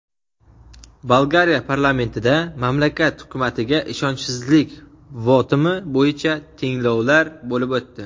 Bolgariya parlamentida mamlakat hukumatiga ishonchsizlik votumi bo‘yicha tinglovlar bo‘lib o‘tdi.